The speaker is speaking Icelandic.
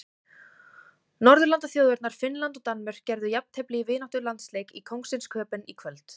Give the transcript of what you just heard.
Norðurlandaþjóðirnar Finnland og Danmörk gerðu jafntefli í vináttulandsleik í Kóngsins Köben í kvöld.